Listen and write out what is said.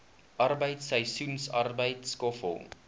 arbeid seisoensarbeid skoffel